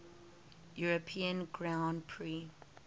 european grand prix